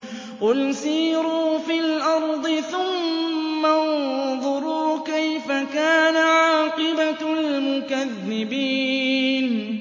قُلْ سِيرُوا فِي الْأَرْضِ ثُمَّ انظُرُوا كَيْفَ كَانَ عَاقِبَةُ الْمُكَذِّبِينَ